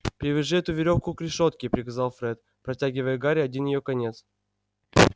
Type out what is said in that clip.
привяжи эту верёвку к решётке приказал фред протягивая гарри один её конец